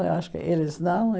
Mas eu acho que eles não.